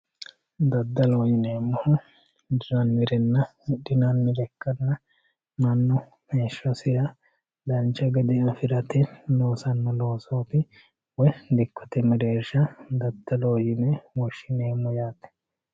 Daddaloho yineemmohu hiranirenna hidhinannire ikkanna mannu heeshshosira dancha gawe afirate loossano loosoti woyi dikkote mereersha daddaloho yine woshshineemmo yaate.